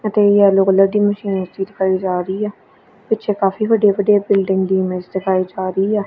ਅਤੇ yellow colour ਦੀ machine ਲੱਗੀ ਦਿਖਾਈ ਜਾ ਰਹੀ ਆ ਪਿੱਛੇ ਕਾਫੀ ਵੱਡੇ ਵੱਡੇ ਬਿਲਡਿੰਗ ਦੀ ਇਮੇਜ ਦਿਖਾਈ ਜਾ ਰਹੀ ਆ।